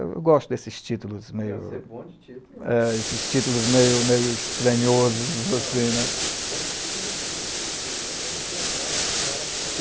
Eu gosto desses títulos você é bom de título meio, meio, estranhosos. Bom de título e sub título, como é que é